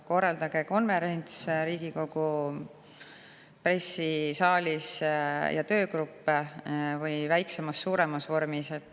Korraldage konverents Riigikogu saalis või töögrupp väiksemas või suuremas vormis.